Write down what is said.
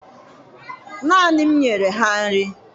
Naanị m nyere ha nri